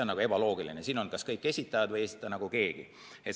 Olgu kas kõik esitajad või ei esita keegi.